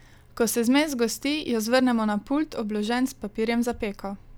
Ko se zmes zgosti, jo zvrnemo na pult, obložen s papirjem za peko.